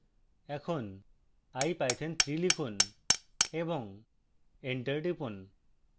এখন ipython3 লিখুন এবং enter টিপুন